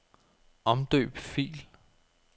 Omdøb fil.